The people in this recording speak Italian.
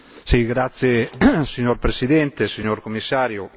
Signora Presidente, onorevoli colleghi, signor Commissario,